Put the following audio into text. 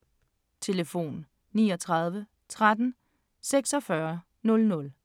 Telefon: 39 13 46 00